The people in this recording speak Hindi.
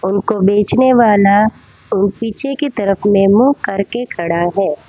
उनको बेचने वाला पीछे की तरफ में मुंह करके खड़ा है।